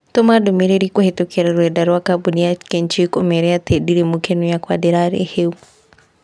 Tũma ndũmĩrĩri kũhītũkīra rũrenda rũa kabũni ya kenchic ũmeera atĩ ndirĩ mũkenu yakwa ndirarĩ hĩu